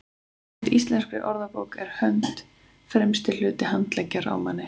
samkvæmt íslenskri orðabók er hönd „fremsti hluti handleggjar á manni